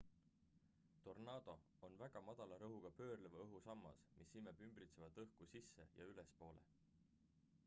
tornaado on väga madala rõhuga pöörleva õhu sammas mis imeb ümbritsevat õhku sisse ja ülespoole